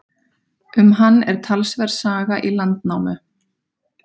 Um hann er talsverð saga í Landnámu.